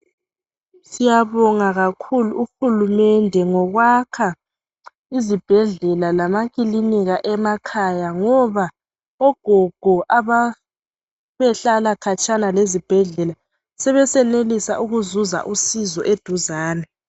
Siyabonga kakhulu uhulumende ngokwakha izibhedlela lamakilinika emakhaya. Ngoba ogogo ababehlala khatshana lezibhedlela sebesenelisa ukuzuza usizo eduzane.